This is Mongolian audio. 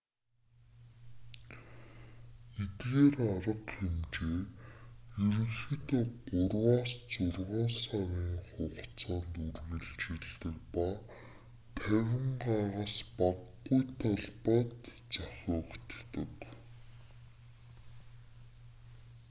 эдгээр арга хэмжээ ерөнхийдөө гурваас зургаан сарын хугацаанд үргэлжилдэг ба 50 га-с багагүй талбайд зохиогддог